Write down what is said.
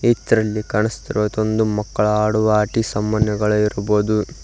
ಇತರಲ್ಲಿ ಕಾಣಸ್ತಿರೊದೊಂದು ಮಕ್ಕಳ ಆಡುವ ಆಟಿ ಸಮ್ಮಾನ್ನಗಳ ಇರಬೊದು.